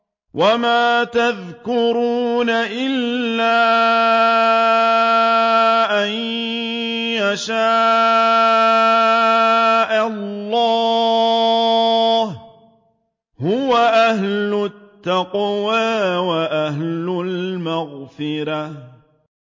وَمَا يَذْكُرُونَ إِلَّا أَن يَشَاءَ اللَّهُ ۚ هُوَ أَهْلُ التَّقْوَىٰ وَأَهْلُ الْمَغْفِرَةِ